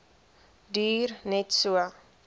duur net so